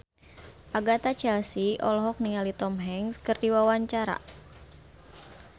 Agatha Chelsea olohok ningali Tom Hanks keur diwawancara